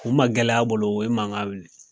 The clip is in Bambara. O magɛlɛya bolo u ye mankan wuli.